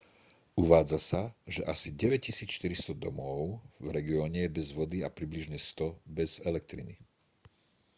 uvádza sa že asi 9400 domov v regióne je bez vody a približne 100 bez elektriny